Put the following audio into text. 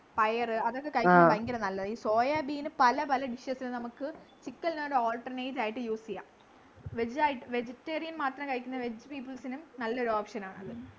പയറ് അതൊക്കെ കഴിക്കുന്നത് ഭയങ്കര നല്ലതാ ഈ soyabean പല പല dishes നു നമ്മുക് chicken നെല്ലം ഒരു alternate ആയിട്ട് use ചെയ്യാ vegetarian മാത്രം കഴിക്കുന്ന veg people സിനും നല്ലൊരു option ആണത്